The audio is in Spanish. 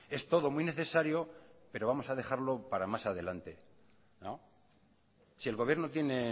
es todo muy necesario pero vamos a dejarlo para más adelante si el gobierno tiene